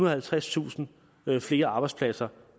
og halvtredstusind flere arbejdspladser